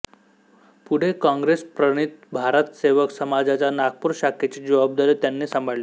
पुढे काँगेसप्रणीत भारतसेवक समाजाच्या नागपूर शाखेची जबाबदारी त्यांनी सांभाळली